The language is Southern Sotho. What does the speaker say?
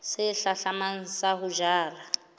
se hlahlamang sa ho jala